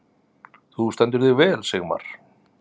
Þú stendur þig vel, Sigmar!